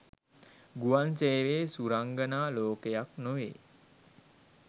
ගුවන් සේවය සුරංගනා ලෝකයක් නොවෙයි.